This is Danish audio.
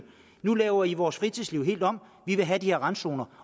nu laver i vores fritidsliv helt om vi vil have de her randzoner